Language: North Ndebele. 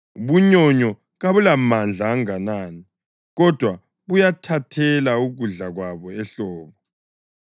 Ubunyonyo kabulamandla anganani, kodwa buyabuthelela ukudla kwabo ehlobo;